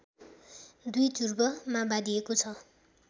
दुई ध्रुवमा बाँडिएको छ